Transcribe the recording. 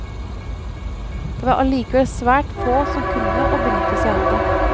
Det var allikevel svært få som kunne og benyttet seg av det.